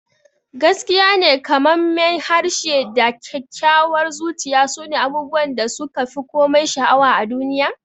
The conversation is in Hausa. Gaskiyane, kamammen harshe da kyakkyawar zuciya sune abubuwan da suka fi komai sha'awa a duniya.